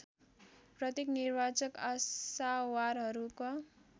प्रत्येक निर्वाचक आशावारहरूका